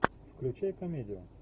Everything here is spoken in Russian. включай комедию